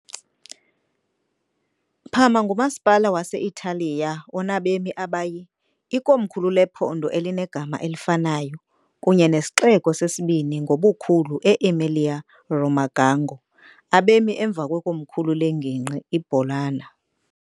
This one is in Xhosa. Parma ngumasipala wase-Italiya onabemi abayi , ikomkhulu lephondo elinegama elifanayo kunye nesixeko sesibini ngobukhulu e- Emilia-Romagna ngo. abemi emva kwekomkhulu lengingqi iBologna.